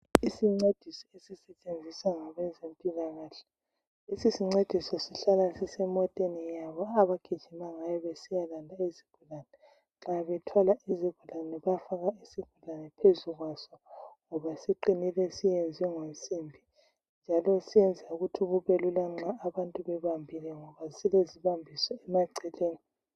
Isincediso esisetshenziswa ngabezempilakahle lesi sincediso sihlala sisemoteni yabo, abagijima ngayo besiyalanda izigulane nxa bethwala izigulane, bayafaka isigulane phezu kwaso ngoba siqinile siyenzwe ngensimbi, njalo senza ukuthi kubelula nxa abantu bebambile ngoba silezibambiso emaceleni.